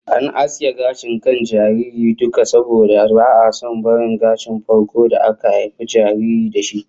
An aske gashin kan jaririn duka, saboda ba'a son barin gashin farko da aka haifi jariri da shi